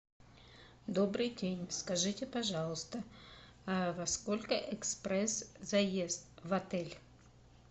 добрый день скажите пожалуйста во сколько экспресс заезд в отель